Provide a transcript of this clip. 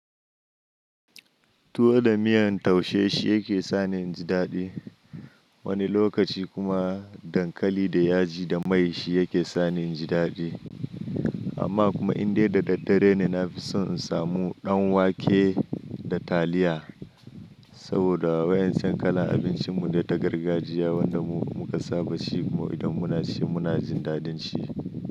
Tuwo da miyan taushe shi yake sani inji daɗi. Wani lokaci kuma dankali da yaji da mai shi yake sani inji daɗi. Amma kuma indai da daddare ne na fi son in samu ɗan wake da taliya. Saboda wa'incan kala abincin mune ta gargajiya wanda mu muka saba shi kuma idan muna ci muna jin daɗin ci.